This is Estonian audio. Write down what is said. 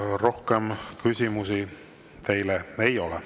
Rohkem küsimusi teile ei ole.